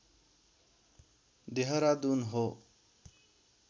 देहरादुन हो